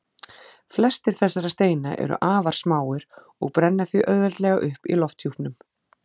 Flestir þessara steina eru afar smáir og brenna því auðveldlega upp í lofthjúpnum.